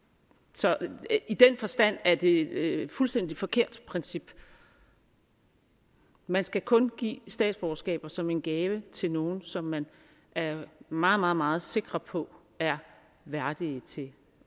så i den forstand er det et fuldstændig forkert princip man skal kun give statsborgerskaber som en gave til nogle som man er meget meget meget sikre på er værdige til